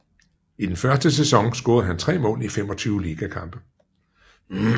I den første sæson scorede han 3 mål i 25 liga kampe